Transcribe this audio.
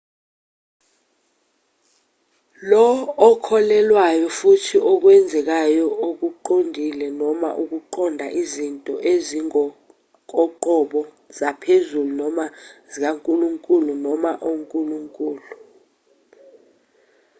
lo okholelwayo ufuna okwenzekayo okuqondile noma ukuqonda izinto ezingokoqobo zaphezulu/zikankulunkulu noma onkulunkulu